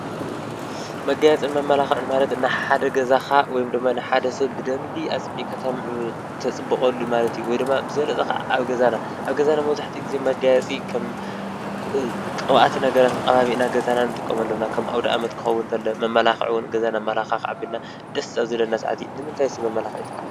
መጋየፅን መማላኽዕን ማለት ንሓደ ገዛኻ ወይ ድማ ንሓደ ሰብ ብደንቢ ኣፀቢቕካ ተፅብቐሉ ማለት እዩ። ወይ ድማ ብዝበለፀ ካዓ ኣብ ገዛና። ኣብ ገዛና መብዛሕታኡ ግዜ መጋየፂ ከም ቅብኣት ነገራት ተቐባቢእና ንጥቀመሎም ኢና። ከም ኣውደ ኣመት ክኸዉን እንተሎ መማላኽዒ እዉን ገዛና ኣምለኻኽዕዕ ኣቢልና ደስ ኣብ ዝበለና ሰዓት እዩ። ንምንታይ ሰብ መመላኽዒ ይጥቀም?